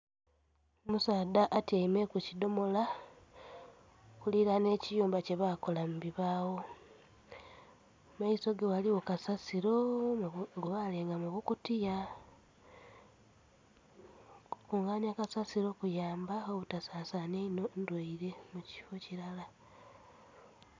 Omusaadha atyaime ku kidhomola okulilanha ekiyumba kye bakola mu bibagho, mu maiso ge ghaligho kasasiro gwe balenga mu bukutiya. Okukunganhya kasasiro kuyamba obutasasanhya inho ndhwaire mu kifo kilala.